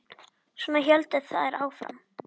Svona héldu þær áfram.